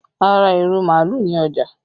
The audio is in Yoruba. A ra irú màálù ni ọjà